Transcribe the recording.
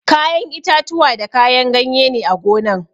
Kayan itatuwa da kayan ganye ne a gonan